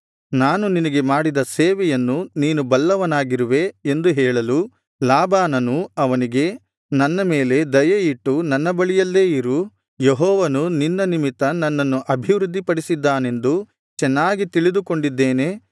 ನಾನು ನಿನಗೆ ಮಾಡಿದ ಸೇವೆಯನ್ನು ನೀನು ಬಲ್ಲವನಾಗಿರುವೆ ಎಂದು ಹೇಳಲು ಲಾಬಾನನು ಅವನಿಗೆ ನನ್ನ ಮೇಲೆ ದಯೆ ಇಟ್ಟು ನನ್ನ ಬಳಿಯಲ್ಲೇ ಇರು ಯೆಹೋವನು ನಿನ್ನ ನಿಮಿತ್ತ ನನ್ನನ್ನು ಅಭಿವೃದ್ಧಿಪಡಿಸಿದ್ದಾನೆಂದು ಚೆನ್ನಾಗಿ ತಿಳಿದುಕೊಂಡಿದ್ದೇನೆ